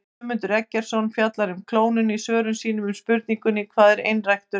Guðmundur Eggertsson fjallar um klónun í svörum sínum við spurningunum Hvað er einræktun?